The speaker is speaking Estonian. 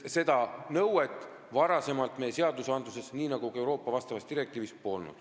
Seda nõuet pole varem meie seadustes nii nagu ka Euroopa vastavas direktiivis olnud.